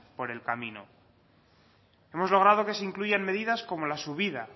por el camino hemos logrado que se incluyan medidas como la subida